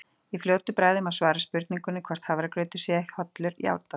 Í fljótu bragði má svara spurningunni hvort hafragrautur sé hollur játandi.